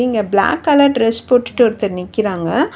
இங்க black colour dress போட்டுட்டு ஒருத்தர் நிக்கிறாங்க.